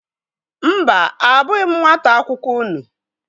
Mba, abụghị m nwata akwụkwọ unu.